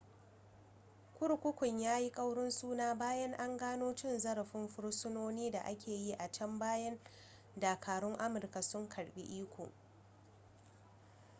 kurkukun ya yi ƙaurin suna bayan an gano cin zarafin fursunoni da ake yi a can bayan dakarun amurka sun karɓi iko